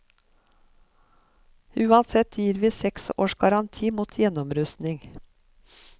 Uansett gir vi seks års garanti mot gjennomrusting.